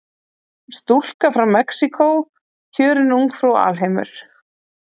Stúlka frá Mexíkó kjörin ungfrú alheimur